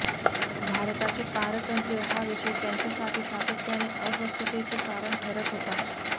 भारताचे पारतंत्र्य हा विषय त्यांच्यासाठी सातत्याने अस्वस्थतेचे कारण ठरत होता